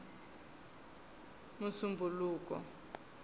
musumbhuluku